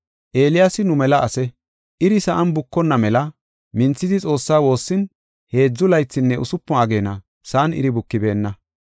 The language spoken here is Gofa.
Eeliyaasi nu mela ase. Iri sa7an bukonna mela minthidi Xoossaa woossin heedzu laythinne usupun ageena sa7an iri bukibeenna.